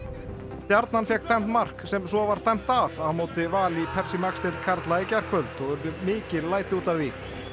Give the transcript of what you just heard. stjarnan fékk dæmt mark sem svo var dæmt af á móti Val í Max deild karla í gærkvöld og urðu mikil læti út af því